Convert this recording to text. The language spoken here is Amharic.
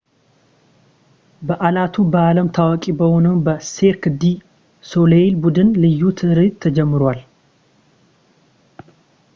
በዓላቱ በዓለም ታዋቂ በሆነው በ ሴርክ ዲ ሶሌይል ቡድን ልዩ ትርኢት ተጀምረዋል